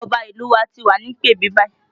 Ọba ìlú u wa ti wà ní ìpèbí báyìí